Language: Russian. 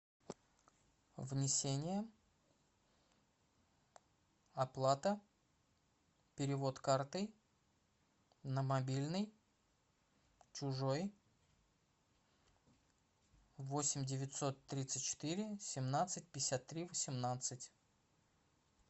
внесение оплата перевод картой на мобильный чужой восемь девятьсот тридцать четыре семнадцать пятьдесят три восемнадцать